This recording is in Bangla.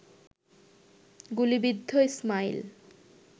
গুলিবিদ্ধ ইসমাইল